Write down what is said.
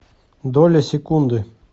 доля секунды